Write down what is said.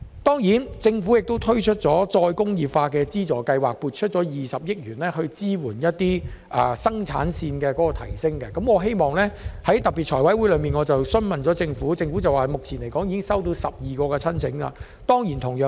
對於政府推出再工業化資助計劃，撥出20億元支援提升生產線，我曾在財委會特別會議上向政府提出相關質詢，政府表示目前已經接獲12宗申請。